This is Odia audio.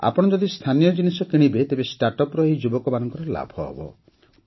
ଆପଣ ଯଦି ସ୍ଥାନୀୟ ଜିନିଷ କିଣିବେ ତେବେ ଷ୍ଟାର୍ଟ ଅପ୍ସ ର ଏହି ଯୁବକମାନଙ୍କର ଲାଭ ହେବ